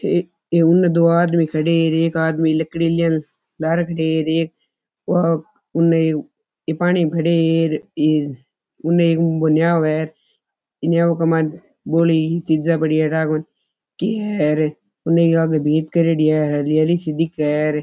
ये उने दो आदमी खड़े है एक आदमी लड़की लिया लारे खड़ो है और एक उनने एक पानी खड़े है उने एक नाव है नाव के मायने भोळी चीज़ा पड़ी ठा कोणी के है रे उनने आगे भी एक भीत करेड़ी है हरी हरी सी दिख रे है।